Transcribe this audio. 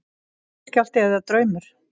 Jarðskjálfti eða draumur?